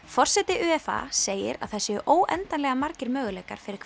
forseti segir að það séu óendanlega margir möguleikar fyrir